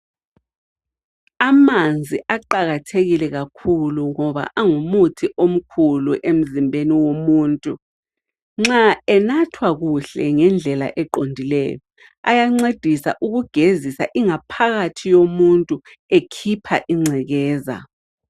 Amanzi aqakathekile kakhulu ngoba angumuthi omkhulu emzimbeni womuntu. Nxa enathwa kuhle ngendlela eqondileyo ayancedisa ukugezisa ingaphakathi yomuntu ekhipha ingcekeza.